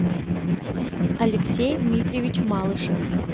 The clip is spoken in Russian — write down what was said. алексей дмитриевич малышев